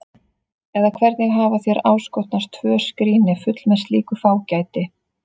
Eða hvernig hafa þér áskotnast tvö skríni full með slíku fágæti?